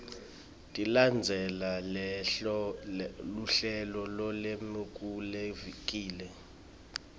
tilandzele luhlelo lolwemukelekile